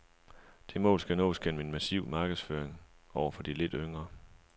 Det mål skal nås gennem en massiv markedsføring over for de lidt yngre.